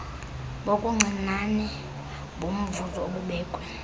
kobuncinane bomvuzo obubekwe